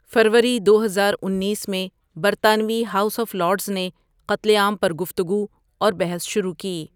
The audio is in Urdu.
فروری دوہزار انیس میں، برطانوی ہاؤس آف لارڈز نے قتل عام پر گفتگو اور بحث شروع کی.